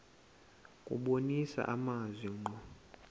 kubonisa amazwi ngqo